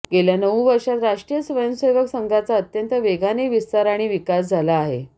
गेल्या नऊ वर्षांत राष्ट्रीय स्वयंसेवक संघाचा अत्यंत वेगाने विस्तार आणि विकास झाला आहे